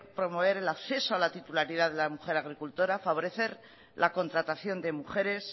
promover el acceso a la titularidad de la mujer agricultora favorecer la contratación de mujeres